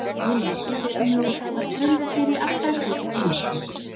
Óðinn var fjölkunnugur og gat brugðið sér í allra kvikinda líki.